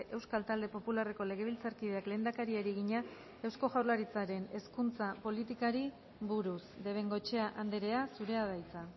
euskal talde popularreko legebiltzarkideak lehendakariari egina eusko jaurlaritzaren hezkuntza politikari buruz de bengoechea andrea zurea da hitza